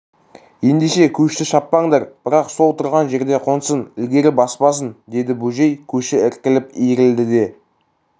ендеше көшті шаппаңдар бірақ сол тұрған жерге қонсын ілгері баспасын деді бөжей көші іркіліп иірілді де